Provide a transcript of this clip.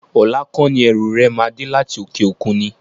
Ọlá kọ́ni ẹrú rẹ máa dé láti òkè òkun ni?